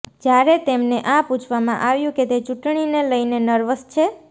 જ્યારે તેમને આ પૂછવામાં આવ્યુ કે તે ચૂંટણીને લઈને નર્વસ છે